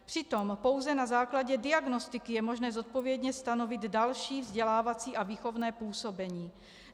Přitom pouze na základě diagnostiky je možné zodpovědně stanovit další vzdělávací a výchovné působení.